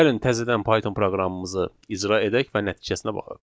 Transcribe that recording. Gəlin təzədən Python proqramımızı icra edək və nəticəsinə baxaq.